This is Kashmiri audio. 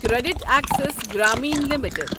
credit Access Grameen limited